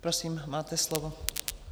Prosím, máte slovo.